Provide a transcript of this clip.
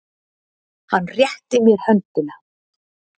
Hann rétti mér höndina.